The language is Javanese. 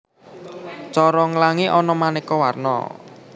Cara nglangi ana manéka warna